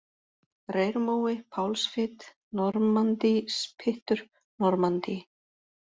Reyrmói, Pálsfit, Normanndíspyttur, Normanndí